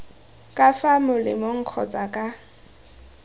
ka fa molemeng kgotsa ka